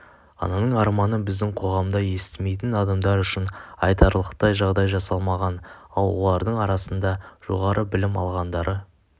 ананың арманы біздің қоғамда естімейтін адамдар үшін айтарлықтай жағдай жасалмаған ал олардың арасында жоғарғы білім алғандары